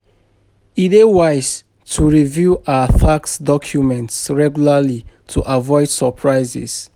E dey wise to review our tax documents regularly to avoid surprises.